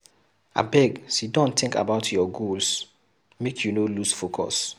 Abeg siddon tink about your goals, make you no loose focus.